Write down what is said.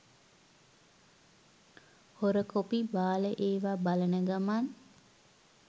හොර කොපි බාල ඒව බලන ගමන්